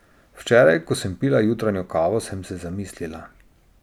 Včeraj, ko sem pila jutranjo kavo, sem se zamislila.